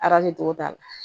togo t'a la